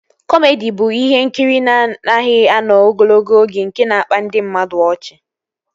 Kọmedi bụ ihe nkiri na-anaghị anọ ogologo oge nke na-akpa ndị mmadụ ọchị